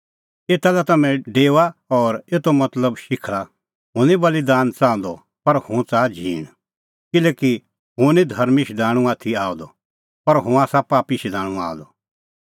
एता लै तम्हैं डेओआ और एतो मतलब शिखल़ा हुंह निं बल़ीदान च़ाहंदअ पर हुंह च़ाहा झींण किल्हैकि हुंह निं धर्मीं शधाणूं आथी आअ द पर हुंह आसा पापी शधाणूं आअ द